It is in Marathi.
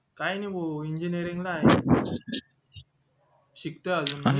काय नाय भाऊ engineering ला ये शिकतोय अजून